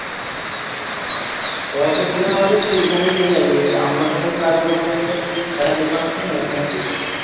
আমরা সবাই যে, একটা দোকান হয়ছে না, ওখানে পিষাই